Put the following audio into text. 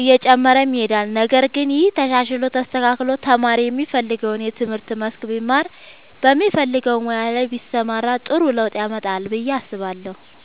እየጨመረም ይሄዳል ነገር ግን ይሄ ተሻሽሎ ተስተካክሎ ተማሪ የሚፈልገውን የትምህርት መስክ ቢማር በሚፈልገው ሙያ ላይ ቢሰማራ ጥሩ ለውጥ ያመጣል ብዬ አስባለሁ።